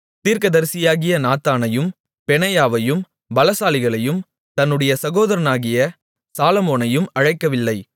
தீர்க்கதரிசியாகிய நாத்தானையும் பெனாயாவையும் பலசாலிகளையும் தன்னுடைய சகோதரனாகிய சாலொமோனையும் அழைக்கவில்லை